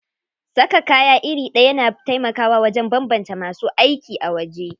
Saka kaya iri ɗaya na taimakawa wajen banbance masu aiki a waje.